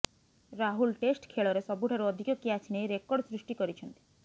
Rahul test ଖେଳରେ ସବୁଠାରୁ ଅଧିକ କ୍ୟାଚ ନେଇ ରେକର୍ଡ଼ ସୃଷ୍ଟି କରିଛନ୍ତି